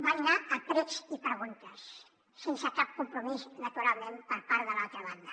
van anar a precs i preguntes sense cap compromís naturalment per part de l’altra banda